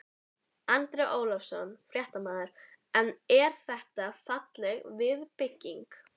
Andri Ólafsson, fréttamaður: En þetta er falleg viðbygging?